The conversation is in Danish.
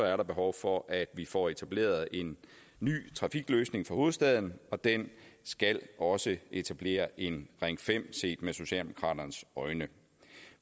er der behov for at vi får etableret en ny trafikløsning for hovedstaden og den skal også etablere en ring fem set med socialdemokraternes øjne